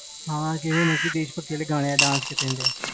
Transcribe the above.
ਹਾਂ ਜਿਹੜੇ ਮਰਜੀ ਦੇਸ ਭਗਤੀ ਦੇ ਗਾਣੇ ਦੇ dance ਕਰਨਾ